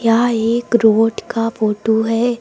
यहां एक रोड का फोटो है।